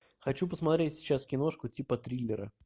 хочу посмотреть сейчас киношку типа триллера